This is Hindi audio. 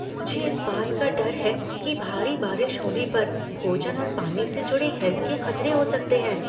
मुझे इस बात का डर है कि भारी बारिश होने पर भोजन और पानी से जुड़े हैल्थ के खतरे हो सकते हैं।